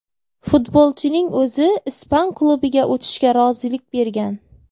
Futbolchining o‘zi ispan klubiga o‘tishga rozilik bergan.